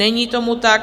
Není tomu tak.